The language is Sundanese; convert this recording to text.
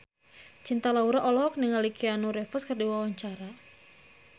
Cinta Laura olohok ningali Keanu Reeves keur diwawancara